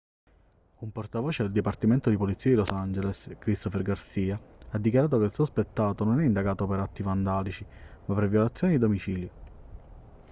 un portavoce del dipartimento di polizia di los angeles christopher garcia ha dichiarato che il sospettato non è indagato per atti vandalici ma per violazione di domicilio